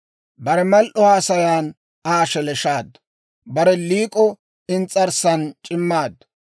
Bare mal"o haasayan Aa sheleeshshaaddu; bare liik'o ins's'arssan c'immaaddu.